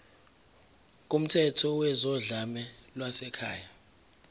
kumthetho wezodlame lwasekhaya